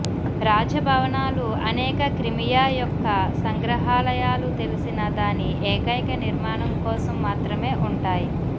రాజభవనాలు అనేక క్రిమియా యొక్క సంగ్రహాలయాలు తెలిసిన దాని ఏకైక నిర్మాణం కోసం మాత్రమే ఉంటాయి